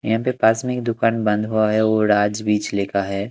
यहां पे पास में एक दुकान बंद हुआ है और आज भी छिलका है।